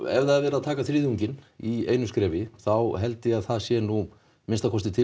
ef það er verið að taka þriðjunginn í einu skrefi þá held ég að það sé nú að minnsta kosti til